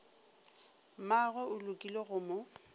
mmagwe o lekile go mo